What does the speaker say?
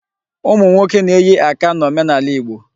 Ụmụ nnwoke na-eyi aka n'omenaala Igbo.